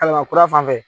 Kalaban kura fan fɛ